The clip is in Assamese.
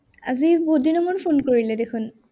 আজি বহুত দিনৰ মূৰত phone কৰিলে দেখোন।